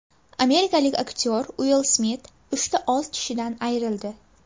Amerikalik aktyor Uill Smit uchta old tishidan ayrildi .